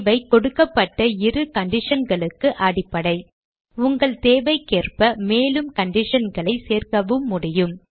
இவை கொடுக்கப்பட்ட இரு conditionகளுக்கு அடிப்படை உங்கள் தேவைக்கேற்றபடி மேலும் conditionகளை சேர்க்கவும் முடியும்